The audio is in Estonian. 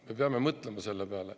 Me peame mõtlema selle peale.